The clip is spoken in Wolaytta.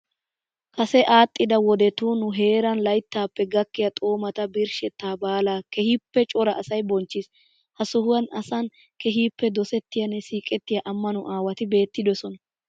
Kase aadhdhida wodetun nu heeran layttappe gakkiya Xoomaa birshshettaa baala keehippe cora asayi bonchchiis. Ha sohuwan asan keehippe dosettiyanne siiqettiya amano aawati beettidosona